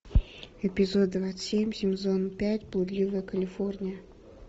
эпизод двадцать семь сезон пять блудливая калифорния